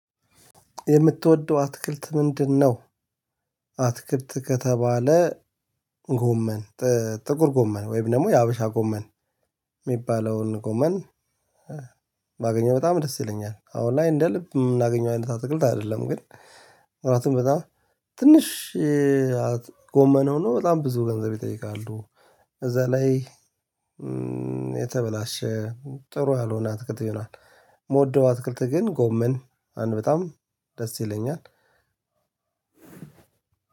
የምትወደው አትክልት ምንድን ነው? አትክልት ከተባለ ጎመን ጥቁር ጎመን ወይም ደግሞ የሀበሻ ጎመን የሚባለውን ጎመን ባገኘው በጣም ደስ ይለኛል። አሁን ላይ እንደ ልብ የምናገኘው አይነት አትክልት አይደለም። ግን ጥራቱን በጣም ትንሽ ጎመን ሁኖ በጣም ብዙ ገንዘብ ይጠይቃሉ። እዛ ላይ የተበላሸ ጥሩ ያልሆነ አትክልት ይሆናል። እምወደው አትክልት ግን ጎመን አንድ በጣም ደስ ይለኛል።